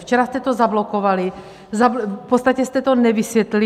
Včera jste to zablokovali, v podstatě jste to nevysvětlili.